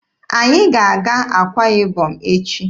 Anyị ga-aga Akwa Ibom echi.